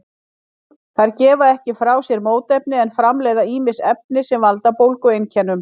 Þær gefa ekki frá sér mótefni en framleiða ýmis efni sem valda bólgueinkennum.